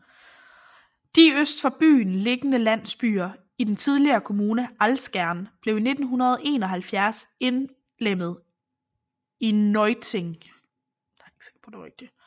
De øst for byen liggende landsbyer i den tidligere kommune Alzgern blev i 1971 indlemmet i Neuötting